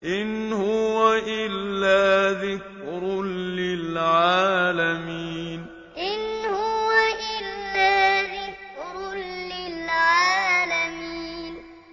إِنْ هُوَ إِلَّا ذِكْرٌ لِّلْعَالَمِينَ إِنْ هُوَ إِلَّا ذِكْرٌ لِّلْعَالَمِينَ